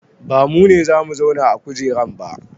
Ba mu ne za mu zauna a kujeran ba